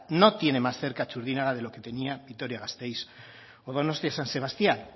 no tiene más cerca txurdinaga de lo que tenía vitoria gasteiz o donostia san sebastián